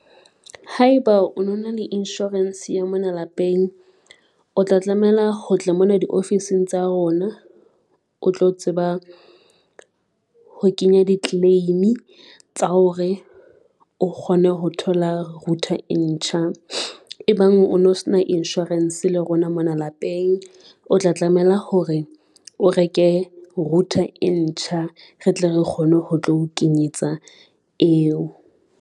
Haeba o no na le insurance ya mona lapeng, o tla tlamela ho tla mona diofising tsa rona, o tlo tseba ho kenya di-claim tsa hore o kgone ho thola router e ntjha. E bang o no se na insurance le rona mona lapeng, o tla tlamela hore o reke router e ntjha re tle re kgone ho tlo kenyetsa eo.